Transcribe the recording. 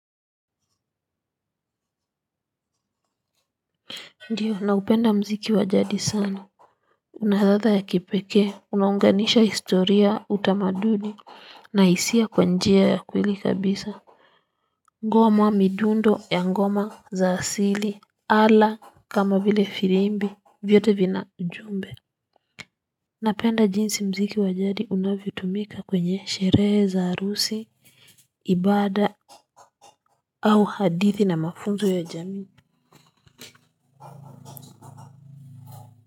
Ndiyo naupenda mziki wa jadi sana. Unahatha ya kipekee unaunganisha historia utamaduni na hisia kwa njia ya kweli kabisa. Ngona midundo ya ngoma za asili ala kama vile firimbi vyote vina ujumbe. Napenda jinsi mziki wajadi unavyutumika kwenye sherehe za harusi ibada au hadithi na mafunzo ya jamii. Kwa.